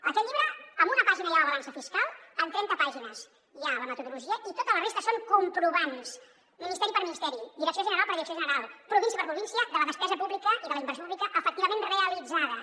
en aquest llibre en una pàgina hi ha la balança fiscal en trenta pàgines hi ha la metodologia i tota la resta són comprovants ministeri per ministeri direcció general per direcció general província per provín·cia de la despesa pública i de la inversió pública efectivament realitzades